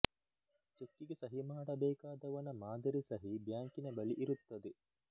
ಚೆಕ್ಕಿಗೆ ಸಹಿ ಮಾಡಬೇಕಾದವನ ಮಾದರಿ ಸಹಿ ಬ್ಯಾಂಕಿನ ಬಳಿ ಇರುತ್ತದೆ